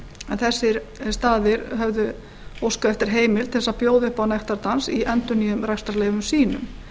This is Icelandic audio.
en þessir staðir höfðu óskað eftir heimild til að bjóða upp á nektardans í endurnýjuðum rekstrarleyfum sínum